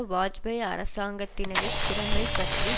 வாஜ்பாய் அரசாங்கத்தினது திறமை பற்றி